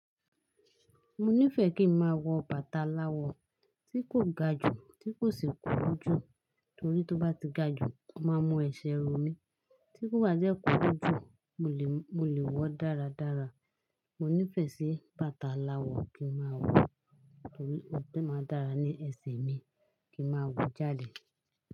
Mo nífẹ̀ẹ́ kí ń máa wọ bàtà aláwọ̀ ti kò ga jù, tí kò sì kúrú jú. Torí tí ó bá ti ga jù, o mú ẹsẹ̀ rò mí, tí kò bá dẹ́ kúrú jú, mo lè wọ̀ dáradára. Mo nífẹ̀ẹ́ sí bàtà aláwọ̀ kí ń máa wọ, torí ó máa dára ní ẹsẹ̀ mi kí ń máa wọ jáde.